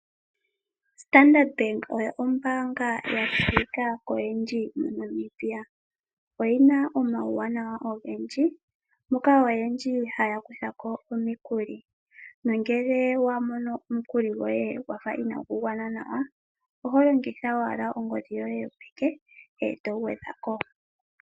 Standard Bank oyo ombaanga ya tseyika koyendji mo Namibia, oyina omawunawa ogendji moka oyendji haya kuthako omikuli, nongele wamono mukuli goye gwafa inagu gwana nawa oho longitha owala ongodhi yoye yopeke eto gwedhako.